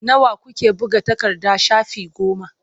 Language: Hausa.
Nawa kuke buga takarda shafi goma.